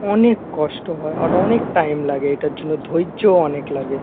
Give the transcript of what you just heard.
অনেক কষ্ট হয় আর অনেক টাইম লাগে এটার জন্য ধৈর্য অনেক লাগে।